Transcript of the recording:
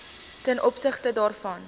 ten opsigte daarvan